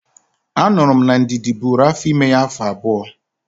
Anụrụ m na Ndidi bụrụ afọ ime ya afọ abụọ